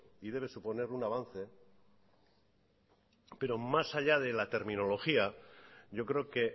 y debe suponer un avance pero más allá de la terminología yo creo que